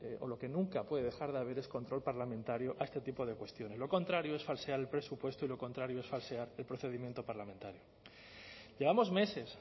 o lo que nunca puede dejar de haber es control parlamentario a este tipo de cuestiones lo contrario es falsear el presupuesto y lo contrario es falsear el procedimiento parlamentario llevamos meses